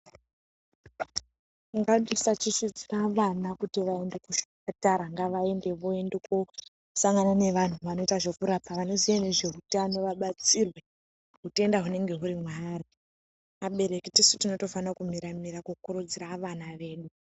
Ngatisachichidzira vana kuti vaende kuzvipatara ngavaende voende kosangana nevanhu vanoite zvekurapa vanoziye nezveutano vabatsirwe utenda hunenge huri mwaari abereki tisu tinotofanira kumiramira kukurudzira vana vedu.